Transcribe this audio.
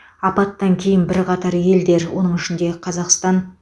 апаттан кейін бірқатар елдер оның ішінде қазақстан